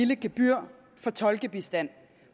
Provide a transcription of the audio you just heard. gebyr for tolkebistand